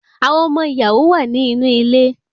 Awọn ọmọ ìyàwó wá ni inú ilé